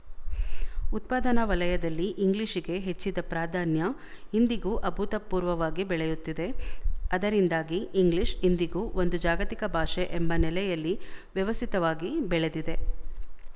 ಉತ್ಪಾದನಾ ವಲಯದಲ್ಲಿ ಇಂಗ್ಲಿಶಿಗೆ ಹೆಚ್ಚಿದ ಪ್ರಾಧಾನ್ಯ ಇಂದಿಗೂ ಅಭೂತಪೂರ್ವವಾಗಿ ಬೆಳೆಯುತ್ತಿದೆ ಅದರಿಂದಾಗಿ ಇಂಗ್ಲಿಶ ಇಂದಿಗೂ ಒಂದು ಜಾಗತಿಕ ಭಾಷೆ ಎಂಬ ನೆಲೆಯಲ್ಲಿ ವ್ಯವಸ್ಥಿತವಾಗಿ ಬೆಳೆದಿದೆ